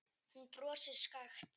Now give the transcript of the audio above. Hún brosir skakkt.